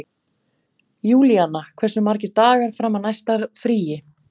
Júlíanna, hversu margir dagar fram að næsta fríi?